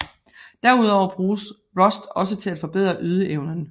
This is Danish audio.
Derudover bruges Rust også til at forbedre ydeevnen